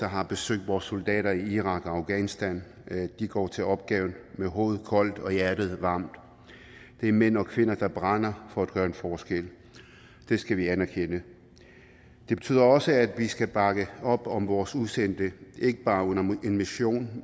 har besøgt vores soldater i irak og afghanistan og de går til opgaven med hovedet koldt og hjertet varmt det er mænd og kvinder der brænder for at gøre en forskel det skal vi anerkende det betyder også at vi skal bakke op om vores udsendte ikke bare under en mission